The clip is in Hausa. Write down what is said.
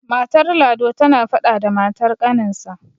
matar lado tana faɗa da matar ƙaninsa